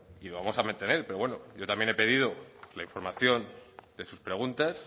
y vamos a mantener pero bueno yo también he pedido la información de sus preguntas